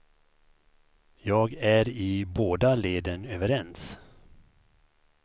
Jag är i båda leden överens.